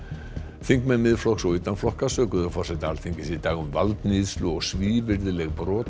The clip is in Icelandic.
þingmenn Miðflokks og utan flokka sökuðu forseta Alþingis í dag um valdníðslu og svívirðileg brot á